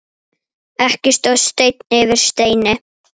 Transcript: Ekki stóð steinn yfir steini.